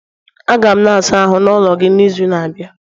Aga m na ịsa ahụ n'ulo gị n'izu na-abịa